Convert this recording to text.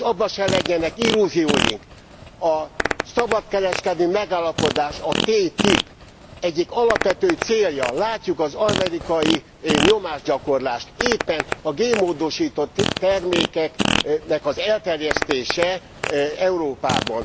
És abban se legyenek illúzióink, a szabadkereskedelmi megállapodás, a TTIP egyik alapvető célja látjuk az amerikai nyomásgyakorlást éppen a génmódosított termékeknek az elterjesztése Európában.